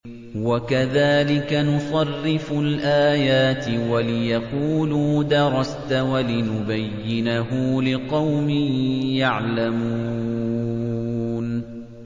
وَكَذَٰلِكَ نُصَرِّفُ الْآيَاتِ وَلِيَقُولُوا دَرَسْتَ وَلِنُبَيِّنَهُ لِقَوْمٍ يَعْلَمُونَ